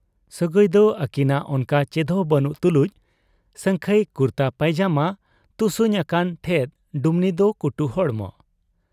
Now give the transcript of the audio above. ᱥᱟᱹᱜᱟᱹᱭᱫᱚ ᱟᱹᱠᱤᱱᱟᱜ ᱚᱱᱠᱟ ᱪᱮᱫᱦᱚᱸ ᱵᱟᱹᱱᱩᱜ ᱛᱩᱞᱩᱡ ᱥᱟᱹᱝᱠᱷᱟᱹᱭ ᱠᱩᱨᱛᱟᱹ ᱯᱟᱹᱭᱡᱟᱢᱟ ᱛᱩᱥᱩᱧ ᱟᱠᱟᱱ ᱴᱷᱮᱫ ᱰᱩᱢᱱᱤ ᱫᱚ ᱠᱩᱴᱩ ᱦᱚᱲᱢᱚ ᱾